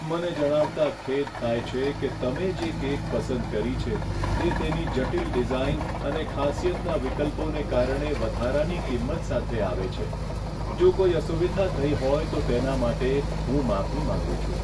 મને જણાવતાં ખેદ થાય છે કે તમે જે કેક પસંદ કરી છે, તે તેની જટિલ ડિઝાઇન અને ખાસિયતના વિકલ્પોને કારણે વધારાની કિંમત સાથે આવે છે. જો કોઈ અસુવિધા થઈ હોય તો તેના માટે હું માફી માંગું છું.